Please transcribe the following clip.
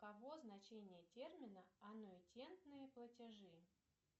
каво значение термина аннуитетные платежи